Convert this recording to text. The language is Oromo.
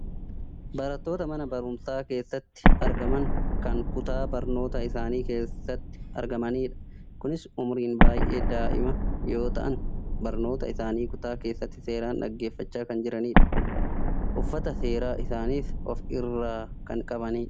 barattoota mana barumsaa keessatti argaman kan kutaa barnootaa isaanii keessatti argamanidha. kunis umuriin baayyee daa'ima yoo ta'an barnoota isaanii kutaa keessatti seeraan dhaggeeffachaa kan jiranidha. uffata seeraa isaaniis of irraa kan qabanidha.